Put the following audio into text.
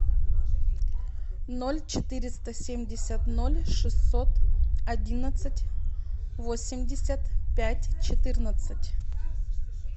ноль четыреста семьдесят ноль шестьсот одиннадцать восемьдесят пять четырнадцать